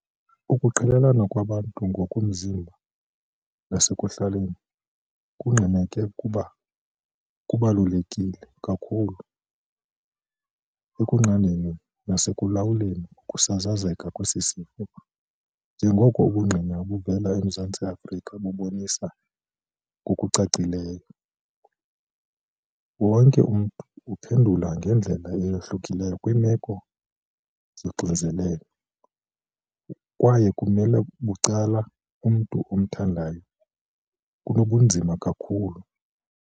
Ukuqelelana kwabantu ngokomzimba nasekuhlaleni kungqineke kubalulekile kakhulu ekunqandeni nasekulawuleni kokusasazeka kwesi sifo njengoko ubungqina obuvela eMzantsi Afrika bubonisa ngokucacileyo. Wonke umntu uphendula ngendlela eyahlukileyo kwiimeko zoxinzelelo kwaye ukumela bucala kumntu omthandayo kunokubanzima kakhulu."